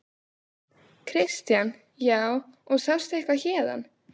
Kristján: Já, og sástu eitthvað héðan?